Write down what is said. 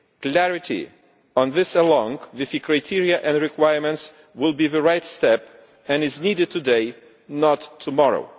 Clarity on this, along with the criteria and requirements, will be the right step and is needed today, not tomorrow.